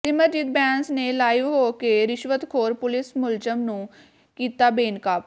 ਸਿਮਰਜੀਤ ਬੈਂਸ ਨੇ ਲਾਈਵ ਹੋ ਕੇ ਰਿਸ਼ਵਤਖੋਰ ਪੁਲਿਸ ਮੁਲਾਜ਼ਮ ਨੂੰ ਕੀਤਾ ਬੇਨਕਾਬ